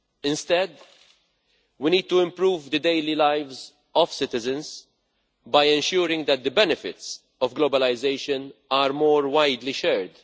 Instead, we need to improve the daily lives of citizens by ensuring that the benefits of globalisation are more widely shared.